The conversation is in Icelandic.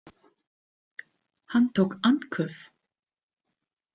Hann tók andköf.